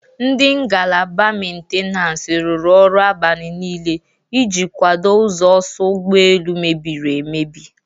Ndị ngalaba mentenansi rụrụ ọrụ abani niile iji kwado ụzọ ọsọ ụgbọ elu mebiri emebi.